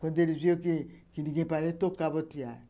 Quando eles viram que que ninguém parou, eles tocavam os tear.